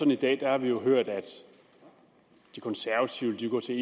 vi i dag har hørt at de konservative vil gå til